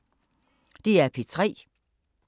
DR P3